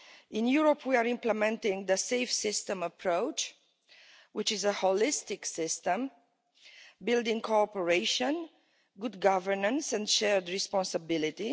In Europe, we are implementing the safe system approach, which is a holistic system building cooperation, good governance and shared responsibility.